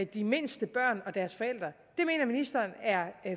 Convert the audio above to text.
de mindste børn og deres forældre mener ministeren er